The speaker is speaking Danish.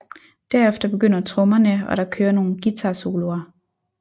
Derefter begynder trommerne og der kører nogle guitarsoloer